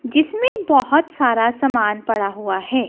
जिसमें बहोत सारा सामान पड़ा हुआ है।